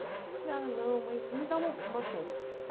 Falei ah não, mas me dá uma uma chance.